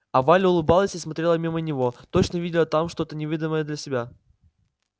а валя улыбалась и смотрела мимо него точно видела там что то невидимое для всех